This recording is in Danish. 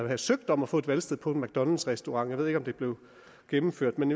havde søgt om at få et valgsted på en mcdonalds restaurant jeg ved ikke om det blev gennemført men